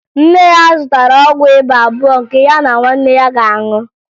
Nne ya zụtara ọgwụ ịba abụọ nke ya na nwanne ya ga-aṅụ